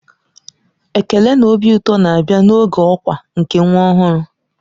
Ekele na obi ụtọ na-abịa n'oge ọkwa nke nwa ọhụrụ.